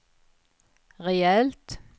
rejält